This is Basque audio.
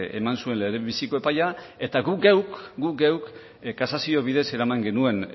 eman zuen lehenbiziko epaia eta guk geuk kasazio bidez eraman genuen